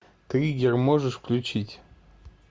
триггер можешь включить